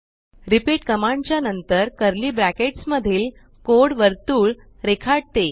repeat command च्या नंतर curly brackets मधील कोड वर्तुळ रेखाटते